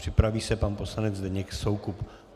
Připraví se pan poslanec Zdeněk Soukup.